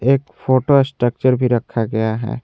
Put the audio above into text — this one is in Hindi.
एक फोटो स्ट्रक्चर भी रखा गया है।